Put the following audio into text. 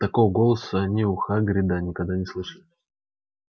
такого голоса они у хагрида никогда не слышали